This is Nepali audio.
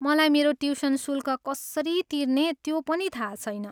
मलाई मेरो ट्युसन शुल्क कसरी तिर्ने त्यो पनि थाहा छैन।